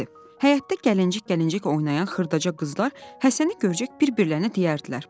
Həyətdə gəlinci-gəlinci oynayan xırdaca qızlar Həsəni görəcək bir-birlərinə deyərdilər.